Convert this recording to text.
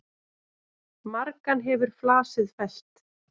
Margan hefur flasið fellt.